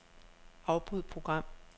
Afbryd program.